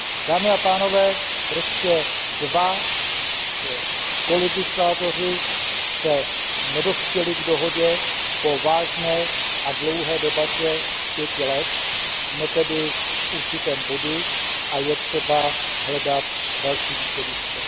Dámy a pánové, prostě dva spoluzákonodárci nedospěli k dohodě po vážné a dlouhé debatě pěti let, jsme tedy v určitém bodu a je třeba hledat další východisko.